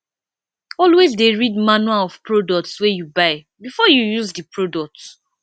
always de read manual of products wey you buy before you use di product